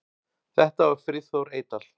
Þetta var Friðþór Eydal.